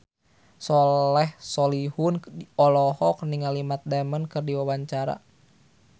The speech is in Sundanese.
Soleh Solihun olohok ningali Matt Damon keur diwawancara